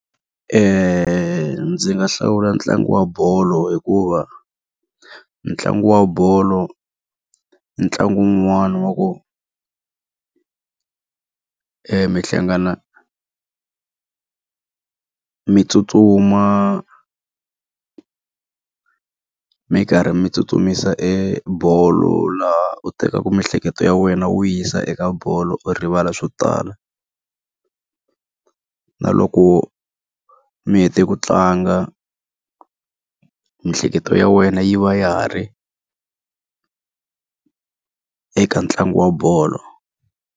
Ndzi nga hlawula ntlangu wa bolo hikuva, ntlangu wa bolo ntlangu wun'wana wa ku mi hlangana mi tsutsuma mi karhi mi tsutsumisa e bolo laha u tekaka miehleketo ya wena wu yisa eka bolo u rivala swo tala. Na loko mi hete ku tlanga miehleketo ya wena yi va ya ha ri eka ntlangu wa bolo.